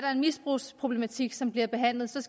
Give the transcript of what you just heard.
er en misbrugsproblematik som bliver behandlet som